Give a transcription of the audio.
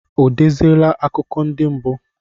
O deziela akụkọ ndị mbụ?